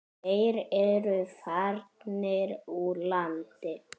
Þeir eru farnir úr landi.